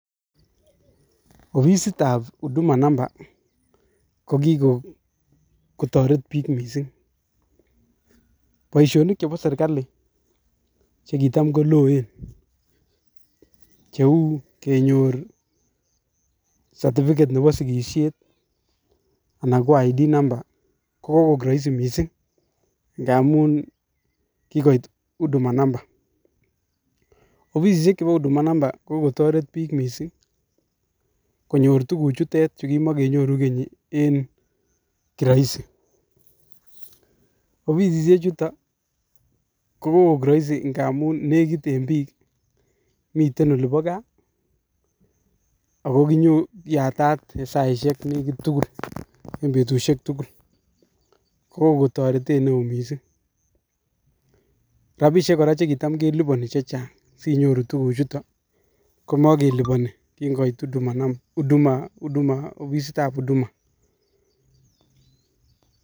Ofisitab huduma mamba kikotoret bik en boisionikab serkalit chekitam koloen, cheu kenyor satifiket Nebo sikisiet anan ko nambait ab kipandet, KO kokoiik Roisi missing ngamun kikoit huduma mamba, ofisisiek chebo huduma namba kokotoreet bik missing konyor tuguk chuton kimonkenyoru Keny en nyumyumindo. Ofisisiek chuton Ko kokoik Roisi ngamun nekit en biik, mitten olibo gaa ako yaatat en saisiek nekit tugul en betusiek tugul. Kokoon toretet neo missing, rabisiek kora chekitamkeliponi chechang sinyoru tuguchuton komokeliponi kinkoit ofisitab huduma